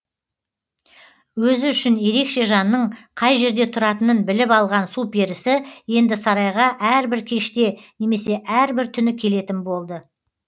өзі үшін ерекше жанның қай жерде тұратынын біліп алған су перісі енді сарайға әрбір кеште немесе әрбір түні келетін болды